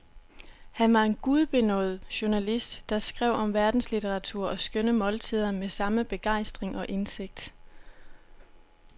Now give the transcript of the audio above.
Han var en gudbenådet journalist, der skrev om verdenslitteratur og skønne måltider med samme begejstring og indsigt.